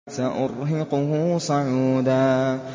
سَأُرْهِقُهُ صَعُودًا